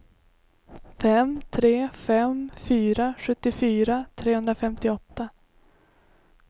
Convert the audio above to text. fem tre fem fyra sjuttiofyra trehundrafemtioåtta